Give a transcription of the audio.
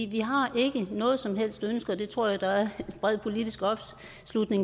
vi har ikke noget som helst ønske og det tror jeg der er bred politisk tilslutning